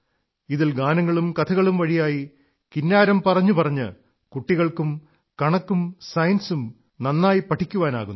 ഇതിൽ ഗാനങ്ങളും കഥകളും വഴിയായി കിന്നാരം പറഞ്ഞു പറഞ്ഞ് കുട്ടികൾക്കും കണക്കും സയൻസും വളരെയധികം പഠിക്കാനാകുന്നു